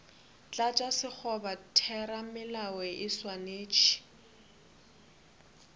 tlatša sekgoba theramelao e swanetše